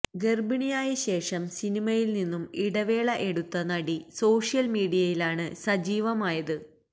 ഗര്ഭിണിയായ ശേഷം സിനിമയില് നിന്നും ഇടവേള എടുത്ത നടി സോഷ്യല് മീഡിയയിലാണ് സജീവമായത്